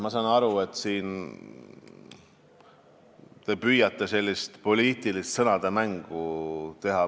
Ma saan aru, et te püüate siin mingit poliitilist sõnadega mängimist teha.